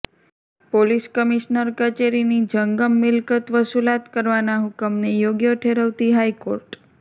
police commissioner કચેરીની જંગમ મિલકત વસુલાત કરવાના હુકમને યોગ્ય ઠેરવતી હાઇકોર્ટ